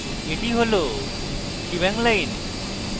এটি shebang line